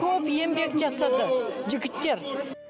көп еңбек жасады жігіттер